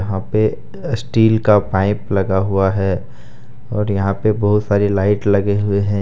यहां पे स्टील का पाइप लगा हुआ है और यहां पे बहुत सारी लाइट लगे हुए हैं ।